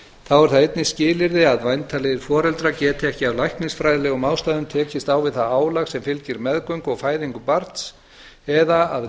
þá er það einnig skilyrði að væntanlegir foreldrar geti ekki af læknisfræðilegum ástæðum tekist á við það álag sem fylgir meðgöngu og fæðingu barns eða að